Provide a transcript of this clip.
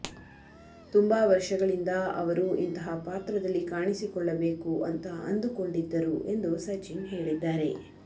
ತುಂಬಾ ವರ್ಷಗಳಿಂದ ಅವರು ಇಂತಹ ಪಾತ್ರದಲ್ಲಿ ಕಾಣಿಸಿಕೊಳ್ಳಬೇಕು ಅಂತ ಅಂದುಕೊಂಡಿದ್ದರು ಎಂದು ಸಚಿನ್ ಹೇಳಿದ್ದಾರೆ